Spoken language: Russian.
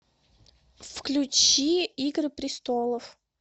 включи игры престолов